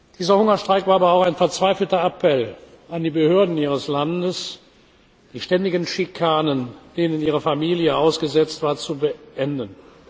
Dieser Hungerstreik war aber auch ein verzweifelter Appell an die Behörden ihres Landes, die ständigen Schikanen, denen ihre Familie ausgesetzt war, zu beenden.